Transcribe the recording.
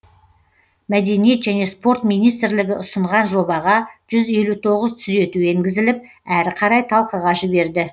мәдениет және спорт министрлігі ұсынған жобаға жүз елу тоғыз түзету енгізіліп әрі қарай талқыға жіберді